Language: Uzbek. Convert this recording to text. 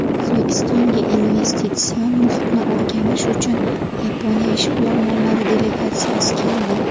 O‘zbekistonga investitsion muhitni o‘rganish uchun Yaponiya ishbilarmonlari delegatsiyasi keldi.